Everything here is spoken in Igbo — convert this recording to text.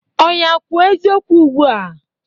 Ọya kwuo eziokwu ugbua!